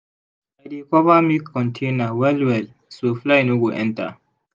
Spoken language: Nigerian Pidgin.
i dey cover milk container well well so fly no go enter.